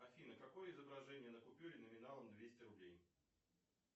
афина какое изображение на купюре номиналом двести рублей